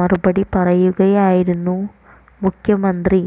മറുപടി പറയുകയായിരുന്നു മുഖ്യമന്ത്രി